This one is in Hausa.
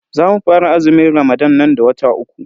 Zamu fara azumin ramadan nan da wata uku.